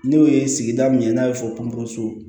N'o ye sigida min n'a bɛ fɔ pɔnpu